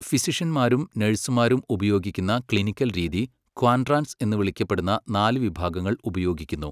ഫിസിഷ്യൻമാരും നഴ്സുമാരും ഉപയോഗിക്കുന്ന ക്ലിനിക്കൽ രീതി, ക്വാഡ്രാന്റ്സ് എന്ന് വിളിക്കപ്പെടുന്ന നാല് വിഭാഗങ്ങൾ ഉപയോഗിക്കുന്നു.